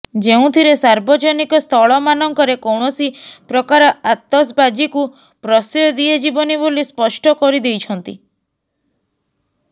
ଯେଉଁଥିରେ ସାର୍ବଜନିକ ସ୍ଥଳମାନଙ୍କରେ କୌଣସି ପ୍ରକାର ଆତସବାଜୀକୁ ପ୍ରଶୟ ଦିଆଯିବନି ବୋଲି ସ୍ପଷ୍ଟ କରିଦେଇଛନ୍ତି